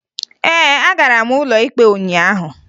Ee, agara m ụlọ ikpe ụnyaahụ